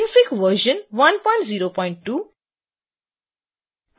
synfig version 102